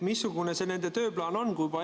Missugune see nende tööplaan on?